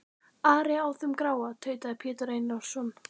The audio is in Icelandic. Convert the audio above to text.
Ari á þeim gráa, tautaði Pétur Einarsson.